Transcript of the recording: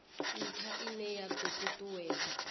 ntha ine ya do tutuwedza